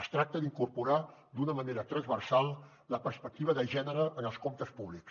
es tracta d’incorporar d’una manera transversal la perspectiva de gènere en els comptes públics